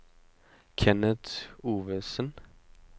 Kenneth Ovesen